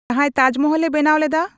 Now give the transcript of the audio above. ᱡᱟᱦᱟᱭ ᱛᱟᱡᱢᱚᱦᱚᱞ ᱮ ᱵᱮᱱᱟᱣ ᱞᱮᱫᱟ